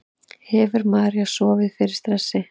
Hefur María sofið fyrir stressi?